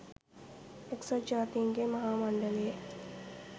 එක්සත් ජාතීන්ගේ මහා මණ්ඩලයේ